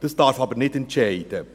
Das darf aber nicht entscheiden.